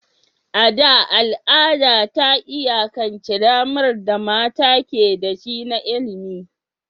A da, al'ada ta iyakance damar da mata ke da shi na ilimi.